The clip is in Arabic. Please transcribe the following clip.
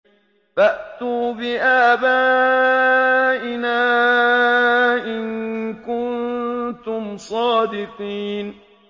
فَأْتُوا بِآبَائِنَا إِن كُنتُمْ صَادِقِينَ